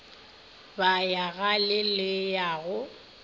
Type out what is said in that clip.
ya bagale le ya go